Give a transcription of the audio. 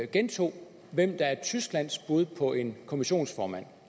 gentog hvem der er tysklands bud på en kommissionsformand